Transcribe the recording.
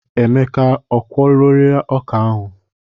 Emeka a kwụọlarịị ọkà a?.